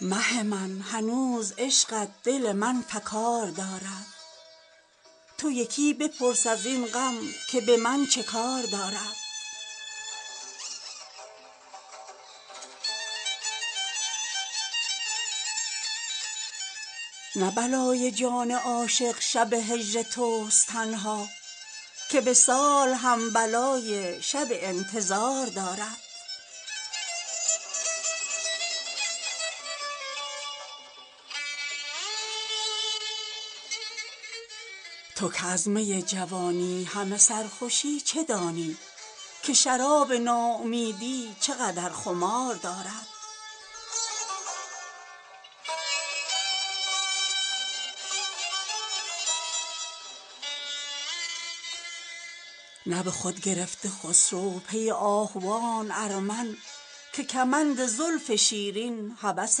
مه من هنوز عشقت دل من فگار دارد تو یکی بپرس از این غم که به من چه کار دارد نه بلای جان عاشق شب هجرت است تنها که وصال هم بلای شب انتظار دارد تو که از می جوانی همه سرخوشی چه دانی که شراب ناامیدی چه قدر خمار دارد نه به خود گرفته خسرو پی آهوان ارمن که کمند زلف شیرین هوس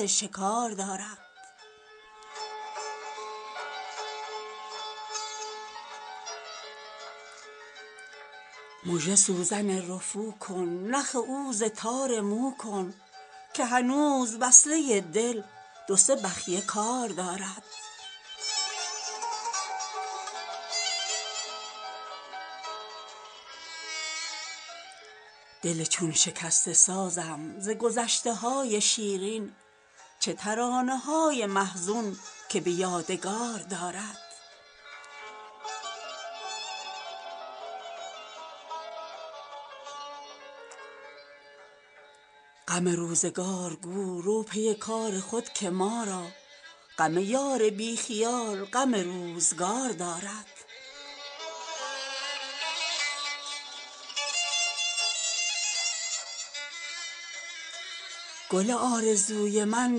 شکار دارد مژه سوزن رفو کن نخ او ز تار مو کن که هنوز وصله دل دو سه بخیه کار دارد دل چون شکسته سازم ز گذشته های شیرین چه ترانه های محزون که به یادگار دارد غم روزگار گو رو پی کار خود که ما را غم یار بی خیال غم روزگار دارد گل آرزوی من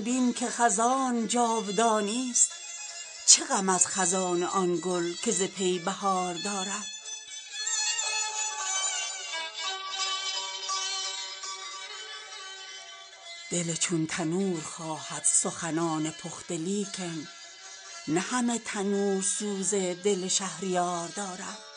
بین که خزان جاودانیست چه غم از خزان آن گل که ز پی بهار دارد دل چون تنور خواهد سخنان پخته لیکن نه همه تنور سوز دل شهریار دارد